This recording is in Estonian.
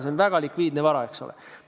See on väga likviidne vara, eks ole.